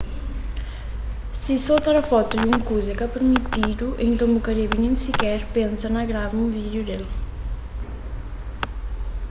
si so tra fotu di un kuza é ka pirmitidu nton bu ka debe nen siker pensa na grava un vídiu del